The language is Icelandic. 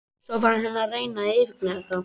Svo fór hann að reyna að yfirgnæfa þá.